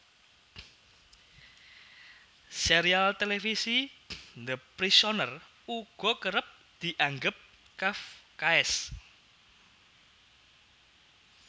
Sérial télévisi The Prisoner uga kerep dianggep kafkaesk